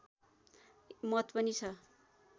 मत पनि छ